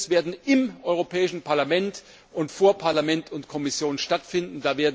Diese Hearings werden im Europäischen Parlament und vor Parlament und Kommission stattfinden.